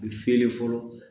U bɛ feere fɔlɔ